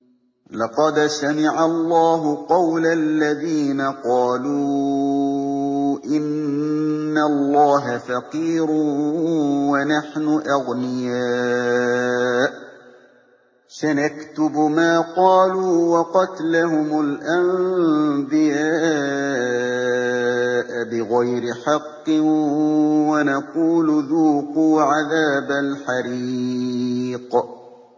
لَّقَدْ سَمِعَ اللَّهُ قَوْلَ الَّذِينَ قَالُوا إِنَّ اللَّهَ فَقِيرٌ وَنَحْنُ أَغْنِيَاءُ ۘ سَنَكْتُبُ مَا قَالُوا وَقَتْلَهُمُ الْأَنبِيَاءَ بِغَيْرِ حَقٍّ وَنَقُولُ ذُوقُوا عَذَابَ الْحَرِيقِ